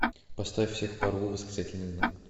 поставь всех порву восклицательный знак